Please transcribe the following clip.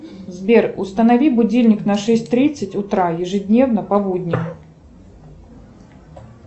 сбер установи будильник на шесть тридцать утра ежедневно по будням